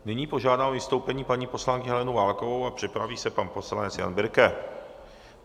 Nyní požádám o vystoupení paní poslankyni Helenu Válkovou a připraví se pan poslanec Jan Birke.